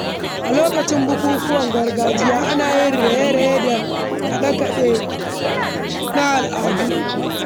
A lokacin bukukuwan gargajiya, ana yin raye-raye da kaɗe-kaɗe na al’ada.